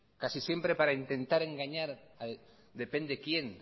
casi siempre para intentar engañar a depende quién